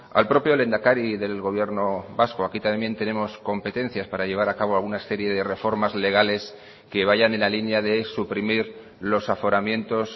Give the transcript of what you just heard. al propio lehendakari del gobierno vasco aquí también tenemos competencias para llevar a cabo alguna serie de reformas legales que vayan en la línea de suprimir los aforamientos